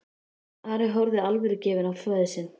Ari horfði alvörugefinn á föður sinn.